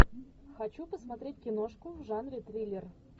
хочу посмотреть киношку в жанре триллер